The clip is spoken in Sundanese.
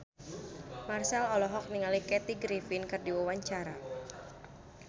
Marchell olohok ningali Kathy Griffin keur diwawancara